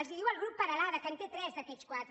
els ho diu el grup peralada que en té tres d’aquests quatre